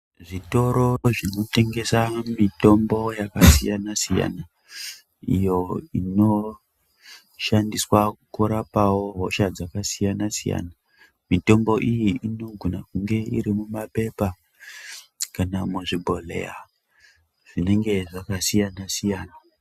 Zvitoro zvinotengesa mitombo yakasiyana-siyana iyo inoshandiswa kurapawo hosha dzakasiyana -siyana. Mitombo iyi inogona kunge iri mumaphepha, kana muzvibhodhleya, zvinenge zvakasiya-siyana.